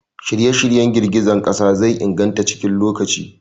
Shirye-shiryen girgizar ƙasa zai inganta cikin lokaci.